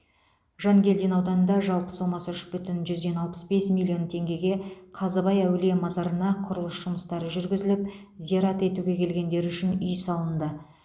жангелдин ауданында жалпы сомасы үш бүтін жүзден алпыс бес миллион теңгеге қазыбай әулие мазарына құрылыс жұмыстары жүргізіліп зиярат етуге келгендер үшін үй салынды